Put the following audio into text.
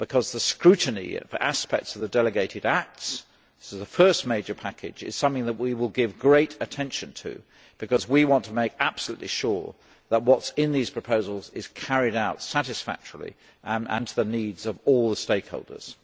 The scrutiny of aspects of the delegated acts this is the first major package is something that we will give great attention to, because we want to make absolutely sure that what is in these proposals is carried out satisfactorily and according to the needs of all the stakeholders.